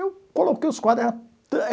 Eu coloquei os quadros.